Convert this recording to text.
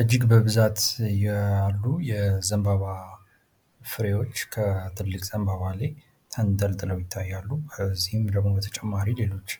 እጅግ በብዛት ያሉ የዘንባባ ፍሬዎች ከትልቅ ዘንባባ ላይ ተንጠልጥለው ይታያሉ። እዚህም በተጨማሪ ሌሎች